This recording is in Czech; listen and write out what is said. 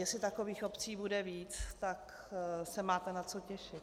Jestli takových obcí bude víc, tak se máte na co těšit.